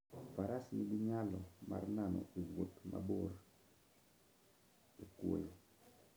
Faras nigi nyalo mar nano e wuoth mabor e kwoyo.